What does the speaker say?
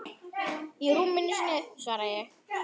Í rúminu sínu, svara ég.